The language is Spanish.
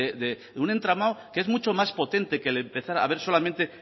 de un entramado que es mucho más potente que el empezar a ver solamente